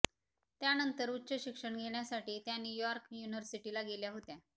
त्यानंतर उच्च शिक्षण घेण्यासाठी त्या न्यूयॉर्क युनिव्हर्सिटीला गेल्या होत्या